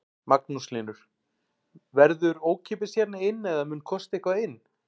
Magnús Hlynur: Verður ókeypis hérna inn eða mun kosta eitthvað inn?